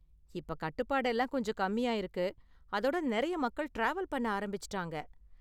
இப்ப கட்டுப்பாடெல்லாம் கொஞ்சம் கம்மி ஆயிருக்கு, அதோட நெறைய மக்கள் டிராவல் பண்ண ஆரம்பிச்சுட்டாங்க.